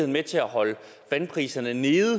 med til at holde vandpriserne nede